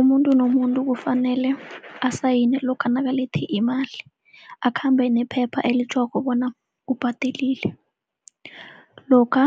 Umuntu nomuntu kufanele asayine lokha nakalethe imali, akhambe nephepha elitjhoko bona ubhadelile. Lokha